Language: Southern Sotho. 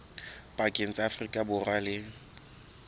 pakeng tsa afrika borwa le